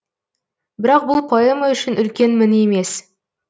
бірақ бұл поэма үшін үлкен мін емес